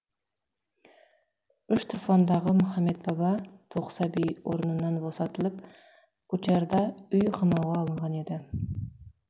үштұрфандағы мұхаммед баба тоқсаби орнынан босатылып кучарда үй қамауға алынған еді